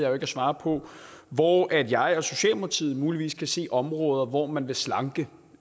at svare på hvor jeg og socialdemokratiet muligvis kan se områder hvor man vil slanke